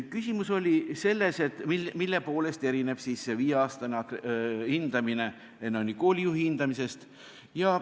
Küsimus oli selles, mille poolest erineb see viieaastane hindamine koolijuhi hindamisest.